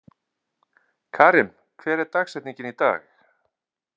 Karim, hver er dagsetningin í dag?